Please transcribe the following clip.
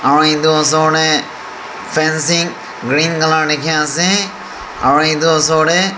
aru edu osor tae fencing green colour dikhiase aru edu osor tae--